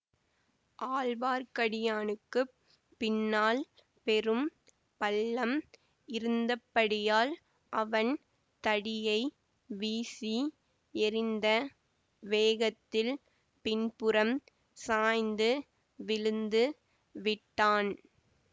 ஆழ்வார்க்கடியானுக்குப் பின்னால் பெரும் பள்ளம் இருந்தபடியால் அவன் தடியை வீசி எறிந்த வேகத்தில் பின்புறம் சாய்ந்து விழுந்து விட்டான்